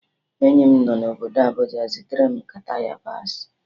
Enyi m nọ obodo Abuja zitere m nkata yabasị